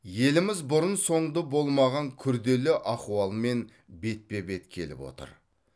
еліміз бұрын соңды болмаған күрделі ахуалмен бетпе бет келіп отыр